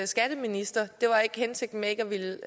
skatteminister det var ikke hensigten ikke at ville